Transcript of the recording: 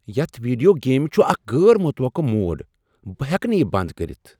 یتھ ویڈیو گیمہ چھ اکھ غٲر متوقع موڑ۔ بہٕ ہٮ۪کہٕ نہٕ یہ بنٛد کٔرتھ۔